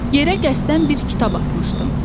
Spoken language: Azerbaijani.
Yerə qəsdən bir kitab atmışdım.